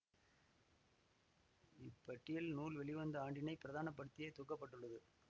இப்பட்டியல் நூல் வெளிவந்த ஆண்டினை பிரதான படுத்தியே தொகுக்க பட்டுள்ளது